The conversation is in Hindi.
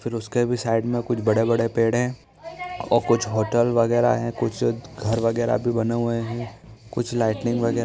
फिर उसके भी साइड में कुछ बड़े-बड़े पेड़ है और कुछ होटल वगेरा है कुछ घर वगेरा भी बने हुए है कुछ लाइटिंग वगेरा--